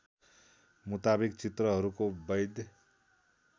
मुताविक चित्रहरूको बैध